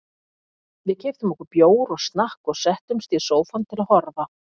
Við keyptum okkur bjór og snakk og settumst í sófann til að horfa.